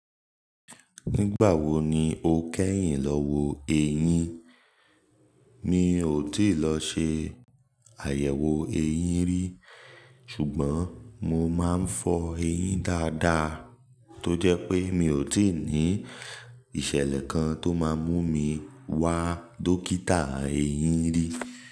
Nígbà wo ni o kẹ́yìn lọ wo eyín? Mi ò tíì lọ ṣe àyẹ̀wò eyín rí, ṣùgbọ́n mo máa ń fọ eyín dáadáa tó jẹ́ pé mi ò tíì ní ìṣẹ̀lẹ̀ kan tó máa mú mi wá dókítà eyín rí.